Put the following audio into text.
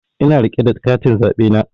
Ina rike da katin zaɓe na